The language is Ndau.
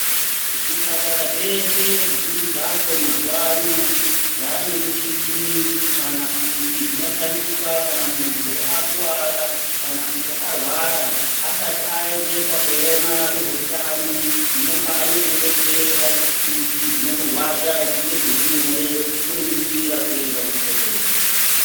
Zvipatara zveshe zvizhinji zvacho mazuwa ano, zvaane michini ,kana kuti zvinoshandiswa kana munhu akuwara, kana kuti arwara, asati aendeswa koona vezveutano ,munofana kumudetsera ,kuti zvinomurwadza zvinge zviri nyore muri munzira kuenda muchibhedhleya.